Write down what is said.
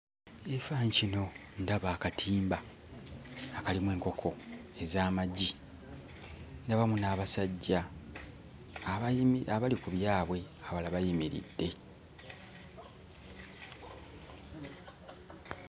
Ekifaananyi kino ndaba akatimba akalimu enkoko ez'amagi, ndabamu n'abasajja abayimi abali ku byabwe, abalala bayimiridde.